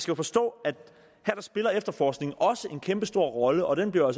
jo forstå at her spiller efterforskningen også en kæmpestor rolle og den bliver